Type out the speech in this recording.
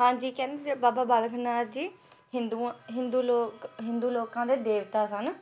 ਹਾਂਜੀ ਕਹਿੰਦੇ ਬਾਬਾ ਬਲਾਕ ਨਾਥ ਜੀ ਹਿੰਦੂਆਂ ਦੇ ਹਿੰਦੂ ਲੋਕ ਹਿੰਦੂ ਲੋਕਾਂ ਦੇ ਦੇਵਤਾ ਸਨ